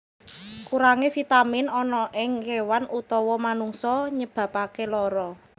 Kurangé vitamin ana ing kéwan utawa manungsa nyebabaké lara